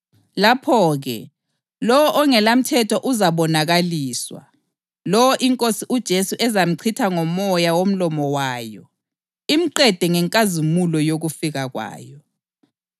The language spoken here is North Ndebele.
Lapho-ke, lowo ongelamthetho uzabonakaliswa, lowo iNkosi uJesu ezamchitha ngomoya womlomo wayo, imqede ngenkazimulo yokufika kwayo.